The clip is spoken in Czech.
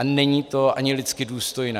A není to ani lidsky důstojné.